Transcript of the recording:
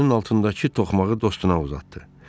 Əlinin altındakı toxmağı dostuna uzatdı.